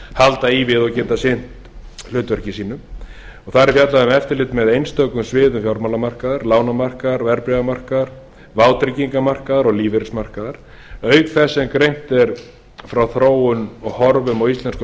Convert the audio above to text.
halda í við og geta sinnt hlutverki sínu þar er fjallað um eftirlit með einstökum sviðum fjármálamarkaðar lánamarkaðar verðbréfamarkaðar vátryggingamarkaðar og lífeyrismarkaðar auk þess sem greint er frá þróun og horfum á íslenskum